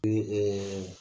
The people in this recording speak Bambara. E ɛɛ